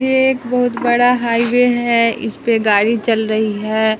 ये एक बहुत बड़ा हाईवे है इस पे गाड़ी चल रही है।